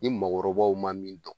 Ni maakɔrɔbaw ma min dɔn